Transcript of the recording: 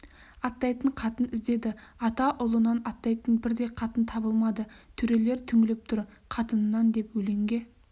аттайтын қатын іздеді ата ұлынан аттайтын бір де қатын табылмады төрелер түңіліп тұр қатынынан деп өлеңге